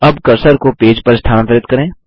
अब कर्सर को पेज पर स्थानांतरित करें